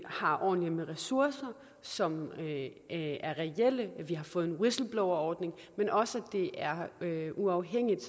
har ordentlig med ressourcer som er reelle vi har fået en whistleblowerordning men også at det er uafhængigt